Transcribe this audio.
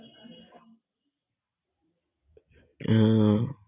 আহ